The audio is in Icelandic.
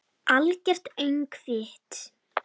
Algert öngvit!